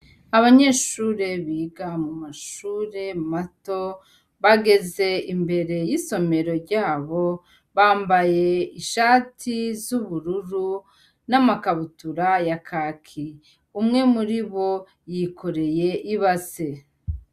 Abanyeshure biga mu mashure mato, bageze imbere y'isomero ryabo, bambaye ishati z'ubururu n'amakabutura ya kaki, umwe muri bo yikoreye ibase.